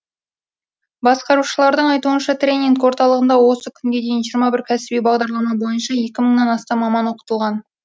басқарушылардың айтуынша тренинг орталығында осы күнге дейін жиырма бір кәсіби бағдарлама бойынша екі мыңнан астам маман оқытылған